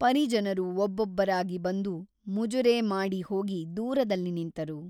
ಪರಿಜನರು ಒಬ್ಬೊಬ್ಬರಾಗಿ ಬಂದು ಮುಜುರೆ ಮಾಡಿ ಹೋಗಿ ದೂರದಲ್ಲಿ ನಿಂತರು.